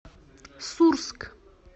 сурск